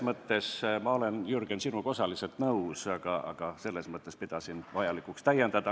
Nii et ma olen, Jürgen, sinuga osaliselt nõus, aga selles mõttes pidasin vajalikuks sind täiendada.